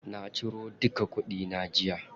Na ciro duka kuɗi na jiya.